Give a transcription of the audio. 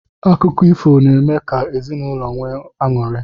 Akụkọ ifo n'eme ka ezinụlọ nwee aṅụri.